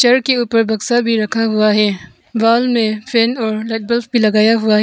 घर के ऊपर बक्सा भी रखा हुआ है बाल में फैन और रेडबल्ब भी लगाया हुआ है।